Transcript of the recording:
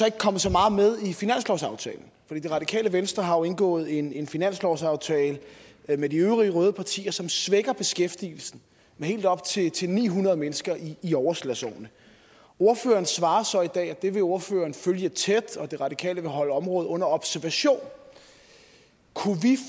ikke kommet så meget med i finanslovsaftalen det radikale venstre har jo indgået en en finanslovsaftale med de øvrige røde partier som svækker beskæftigelsen med helt op til til ni hundrede mennesker i i overslagsårene ordføreren svarer så i dag at det vil ordføreren følge tæt og at det radikale venstre vil holde området under observation kunne vi